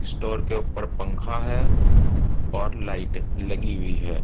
Store के ऊपर पंखा है और लाईट लगी हुई है।